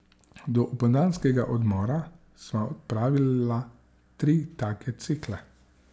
Do opoldanskega odmora sva opravila tri take cikle.